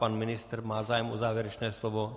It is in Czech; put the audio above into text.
Pan ministr - má zájem o závěrečné slovo?